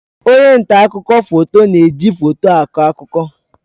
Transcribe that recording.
Onye nta akụkọ foto na-eji foto akọ akụkọ.